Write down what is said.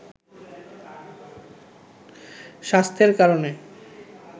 স্বাস্থ্যের কারণে